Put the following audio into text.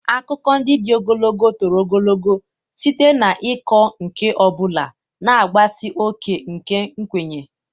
Akụkọ ndị dị ogologo toro ogologo site n'ịkọ nke ọ bụla, na-agbatị oke nke nkwenye.